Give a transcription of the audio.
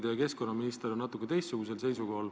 Teie keskkonnaminister on küll natuke teistsugusel seisukohal.